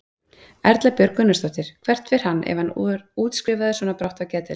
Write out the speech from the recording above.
Erla Björg Gunnarsdóttir: Hvert fer hann ef hann er útskrifaður svona brátt af af geðdeild?